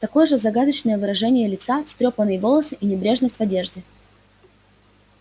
такое же загадочное выражение лица встрёпанные волосы и небрежность в одежде